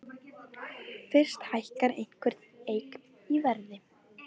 Fyrst hækkar einhver eign í verði.